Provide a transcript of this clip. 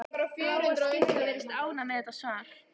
Bláa skyrtan virðist ánægð með þetta svar.